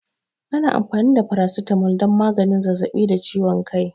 Ana amfani da Paracetamol don maganin zazzaɓi da ciwon kai.